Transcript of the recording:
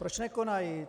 Proč nekonají?